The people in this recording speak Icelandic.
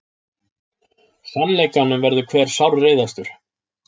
Sannleikanum verður hver sárreiðastur.